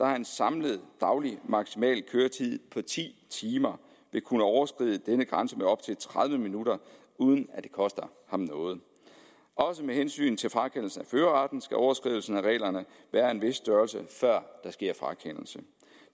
har en samlet daglig maksimal køretid på ti timer vil kunne overskride denne grænse med op til tredive minutter uden at det koster ham noget også med hensyn til frakendelse af førerretten skal overskridelsen af reglerne være af en vis størrelse før der sker frakendelse